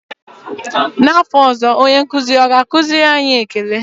N'afọ ọzọ, onye nkụzi ọ ga-akụziri anyị ékélé?